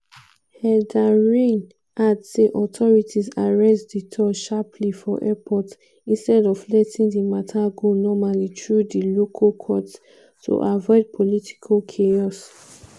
heydarian add say authorities arrest duterte sharply for airport instead of letting di mata go normally through di local courts to "avoid political chaos".